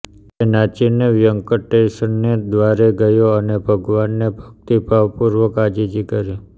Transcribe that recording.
તે નાસીને વ્યંકટેશને દ્વારે ગયો ને ભગવાનને ભકિતભાવપૂર્વક આજીજી કરી